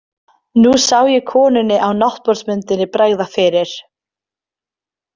Nú sá ég konunni á náttborðsmyndinni bregða fyrir.